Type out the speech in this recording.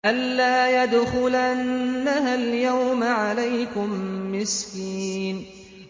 أَن لَّا يَدْخُلَنَّهَا الْيَوْمَ عَلَيْكُم مِّسْكِينٌ